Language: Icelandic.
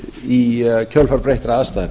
í kjölfar breyttra aðstæðna